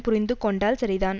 புரிந்து கொண்டால் சரிதான்